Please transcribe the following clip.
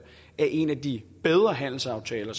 er en af de bedre handelsaftaler